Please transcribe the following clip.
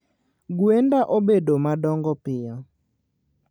Gwenda obedo madongo piyo